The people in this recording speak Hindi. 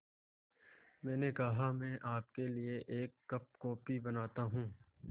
मैंने कहा मैं आपके लिए एक कप कॉफ़ी बनाता हूँ